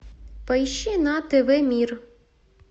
поищи на тв мир